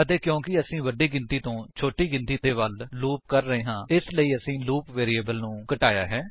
ਅਤੇ ਕਿਓਕੀ ਅਸੀ ਵੱਡੀ ਗਿਣਤੀ ਤੋਂ ਛੋਟੀ ਗਿਣਤੀ ਦੇ ਵੱਲ ਲੂਪ ਕਰ ਰਹੇ ਹਾਂ ਇਸਲਈ ਅਸੀਂ ਲੂਪ ਵੈਰਿਏਬਲ ਨੂੰ ਘਟਾਇਆ ਹੈ